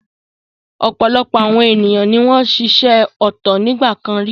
Ọ̀pọ̀lọpọ̀ àwọn ènìyàn ni wọ́n ń ṣiṣẹ́ ọ̀tọ̀ nígbà kan rí.